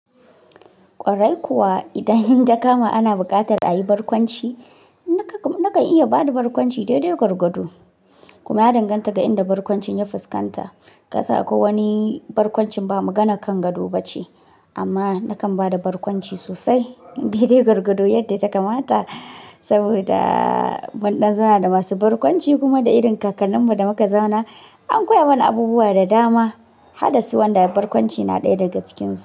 Kwarai kuwa, idan hin ta kama ana buƙatar a yi barkwanci, nakan iya ba da barkwanci daidai gwargwado kuma ya danganta ga inda barkwancin ya fuskanta. Kasan akwai wani barkwancin ba magana kan gado ba ce amma nakan ba da barkwanci sosai, daidai gwargwado yadda ta kamata. Saboda mun ɗan zauna da masu barkwanci kuma da irin kakanninmu da muka zauna, an koya mana abubuwa da dama, haddasu wanda barkwanci na ɗaya daga cikinsu.